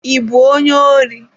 I bụ onye ori?